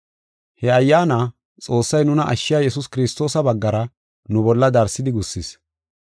He Ayyaana, Xoossay nuna ashshiya Yesuus Kiristoosa baggara nu bolla darsidi gussis.